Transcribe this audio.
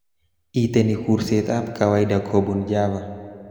Itenee kursetab kawaida kobun Java